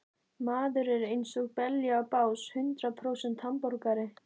Maður er einsog belja á bás, hundrað prósent hamborgari.